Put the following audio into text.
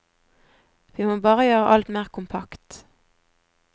Vi må bare gjøre alt mer kompakt.